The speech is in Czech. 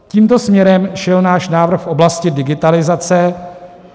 Tímto směrem šel náš návrh v oblasti digitalizace.